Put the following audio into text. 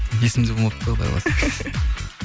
есімде болмапты құдай қаласа